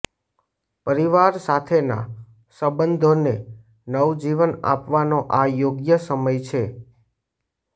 પરિવાર સાથેના સંબંધોને નવજીવન આપવાનો આ યોગ્ય સમય છે